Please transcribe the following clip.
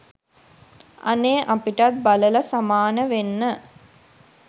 අනේ අපිටත් බලල සමාන වෙන්න